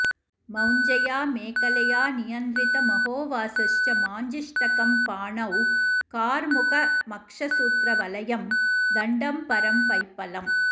मौञ्ज्या मेखलया नियन्त्रितमधोवासश्च माञ्जिष्ठकम् पाणौ कार्मुकमक्षसूत्रवलयं दण्डं परं पैप्पलम्